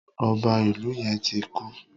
Ọba Ìlu yén ti kú.